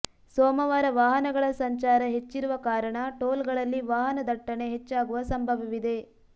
ಸೋಮವಾರ ವಾಹನಗಳ ಸಂಚಾರ ಹೆಚ್ಚಿರುವ ಕಾರಣ ಟೋಲ್ಗಳಲ್ಲಿ ವಾಹನ ದಟ್ಟಣೆ ಹೆಚ್ಚಾಗುವ ಸಂಭವವಿದೆ